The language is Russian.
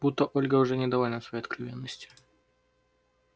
будто ольга уже недовольна своей откровенностью